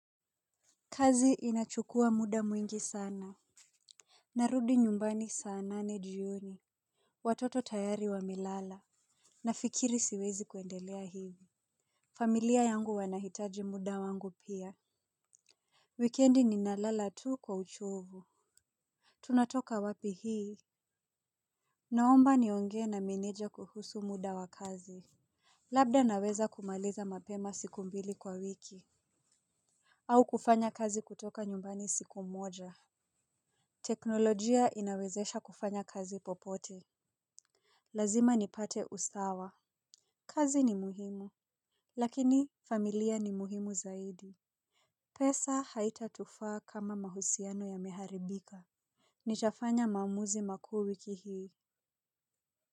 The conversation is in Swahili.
Kazi inachukua muda mwingi sana. Narudi nyumbani saa nane jioni. Watoto tayari wamelala. Nafikiri siwezi kuendelea hivi. Familia yangu wanahitaji muda wangu pia. Wikendi ninalala tu kwa uchovu. Tunatoka wapi hii. Naomba niongee na meneja kuhusu muda wa kazi. Labda naweza kumaliza mapema siku mbili kwa wiki au kufanya kazi kutoka nyumbani siku moja. Teknolojia inawezesha kufanya kazi popote. Lazima nipate usawa. Kazi ni muhimu. Lakini familia ni muhimu zaidi. Pesa haitatufaa kama mahusiano yameharibika. Nitafanya maamuzi makuu wiki hii.